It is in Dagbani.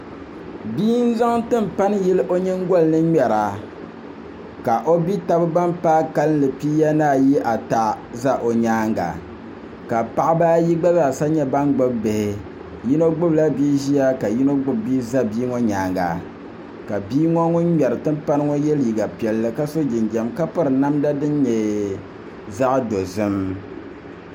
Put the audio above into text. Bia n zaŋ tinpani yili o nyingoli ni ŋmɛra ka o bia tabi ban paai kanli pia ni ayi ata ƶɛ o nyaanga ka paɣaba ayi gbazaasa nyɛ ban gbubi bihi yino gbubila bia ʒiya ka yino gbubi bia ʒɛ bia ŋo nyaanga ka bia ŋo ŋun ŋmɛri tinpani ŋo yɛ liiga piɛlli ka piri namda din nyɛ zaɣ dozim